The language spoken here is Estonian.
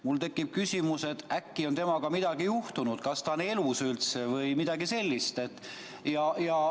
Mul tekib küsimus, kas temaga on äkki midagi juhtunud, kas ta on üldse elus vms.